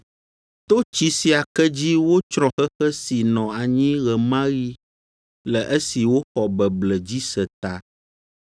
To tsi sia ke dzi wotsrɔ̃ xexe si nɔ anyi ɣe ma ɣi le esi woxɔ beble dzi se ta.